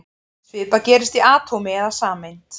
Svipað gerist í atómi eða sameind.